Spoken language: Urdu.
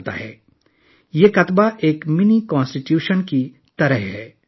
ایک پتھر پر لکھا یہ کتبہ ایک چھوٹے آئین کی طرح ہے